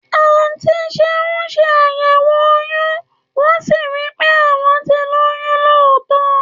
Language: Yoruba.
Àńti sẹun sẹ àyéwò òyún wón si ri pẹ à wọn ti lóyún nitótọ